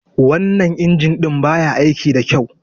Wannan injin ɗin ba ya aiki da kyau.